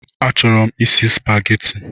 A chọrọ m isi Spageti